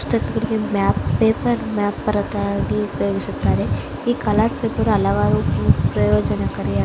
ಪುಸ್ತಕ ಗಳಿಗೆ map paper map ಭಾರತಲ್ಲ ಅದನ್ನ ಉಪಯೋಗಿಸುತ್ತಾರೆ ಈ ಕಾರ್ ಪೇಪರ್ ಹಲವಾರು ಪ್ರಯೋಜನಕಾರಿಯಾಗಿದೆ.